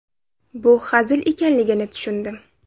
Bu hazil ekanligini tushundim.